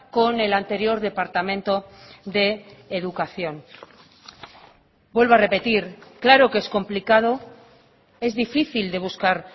con el anterior departamento de educación vuelvo a repetir claro que es complicado es difícil de buscar